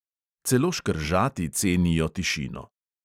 Celo škržati cenijo tišino.